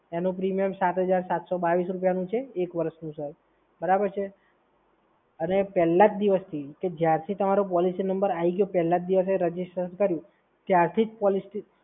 એનું પ્રીમિયમ સાત હજાર સાતસો બાવીસ રૂપિયાનું છે, એક વર્ષનું સર. બરાબર છે? અને પહેલા જ દિવસથી કે જ્યારથી તમારો પોલિસી નંબર આઈ ગયો પહેલા જ દિવસે રજીસ્ટ્રેશન કર્યું ત્યારથી જ પોલિસી